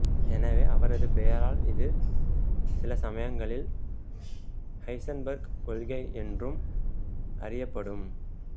எனவே அவரது பெயரால் இது சிலசமயங்களில் ஹைசன்பர்க் கொள்கை என்றும் அறியப்படும்